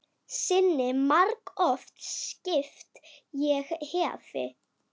Sinni margoft skipt ég hefi.